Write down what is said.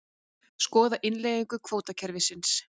Skoða innleiðingu kvótakerfis